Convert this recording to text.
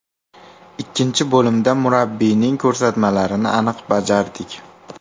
Ikkinchi bo‘limda murabbiyning ko‘rsatmalarini aniq bajardik.